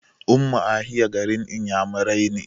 Ummuahia garin Inyamurai ne.